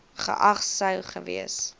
geag sou gewees